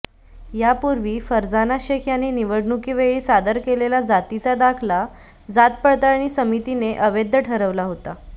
यापूर्वी फरजाना शेख यांनी निवडणुकीवेळी सादर केलेला जातीचा दाखला जात पडताळणी समितीने अवैध ठरवला होता